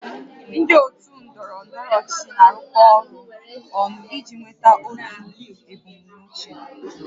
Ndị otu ndọrọ ndọrọ ọchịchị na-arụkọ ọrụ ọnụ iji nweta otu ebumnuche